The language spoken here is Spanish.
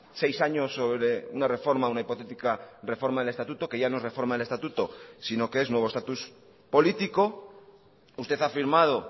seis años sobre una reforma una hipotética reforma del estatuto que ya no es reforma del estatuto sino que es nuevo estatus político usted ha afirmado